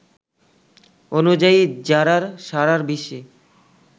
অনুযায়ী জারার সারা বিশ্বে